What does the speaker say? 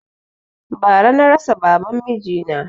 Bara na rasa baban miji na